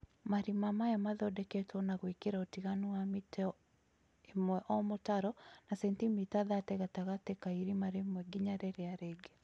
Marima maya mathondekagwo na gũĩkĩra ũtiganu wa mita ĩmwe o mũtaro na sentimita 30 gatagatĩ ka irima rĩmwe nginya rĩrĩa rĩngĩ